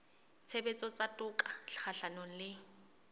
tshebetso tsa toka kgahlanong le